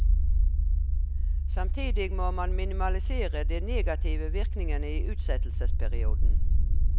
Samtidig må man minimalisere de negative virkningene i utsettelsesperioden.